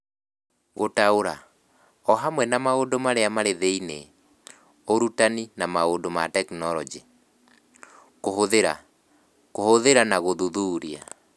Gũtaũra (o hamwe na maũndũ marĩa marĩ thĩinĩ, ũrutani, na maũndũ ma tekinolonjĩ), kũhũthĩra (kũhũthĩra na gũthuthuria)